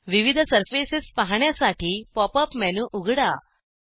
विविध सर्फेसेस पाहण्यासाठी pop up popup menu उघडा